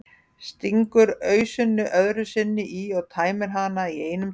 Stingur ausunni öðru sinni í og tæmir hana í einum teyg.